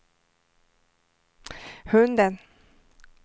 hunden